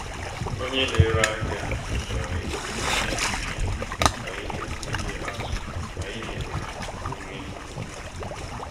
onye na-ere ahịa kwetara iwepụ pasenti iri n'ihe niile a zụrụ n'ihi na buru ibu.